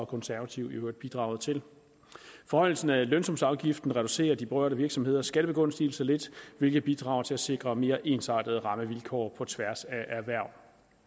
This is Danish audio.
konservative i øvrigt bidrog til forhøjelsen af lønsumsafgiften reducerer de berørte virksomheders skattebegunstigelse lidt hvilket bidrager til at sikre mere ensartede rammevilkår på tværs af erhverv